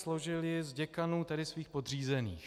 Složil ji z děkanů, tedy svých podřízených.